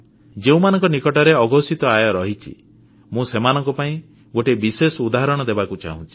ଯେଉଁମାନଙ୍କ ନିକଟରେ ଅଘୋଷିତ ଆୟ ରହିଛି ମୁଁ ସେମାନଙ୍କ ପାଇଁ ଗୋଟିଏ ବିଶେଷ ଉଦାହରଣ ଦେବାକୁ ଚାହୁଁଛି